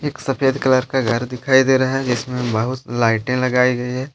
एक सफेद कलर का घर दिखाई दे रहा है जिसमें बहुत लाइटें लगाई गई है।